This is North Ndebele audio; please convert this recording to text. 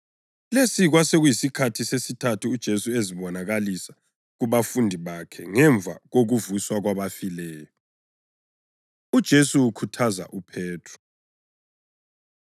Lesi kwasekuyisikhathi sesithathu uJesu ezibonakalisa kubafundi bakhe ngemva kokuvuswa kwabafileyo. UJesu Ukhuthaza UPhethro